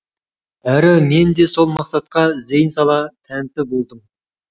әрі мен де сол мақсатқа зейін сала тәнті болдым